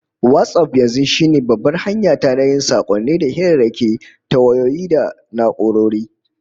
WhatsApp yanzu shine babbar hanya ta na yin sakonni da hirarraki ta wayoyi da na'urori